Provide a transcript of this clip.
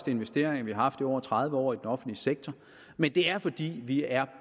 investeringer vi har haft i over tredive år i den offentlige sektor men det er fordi vi er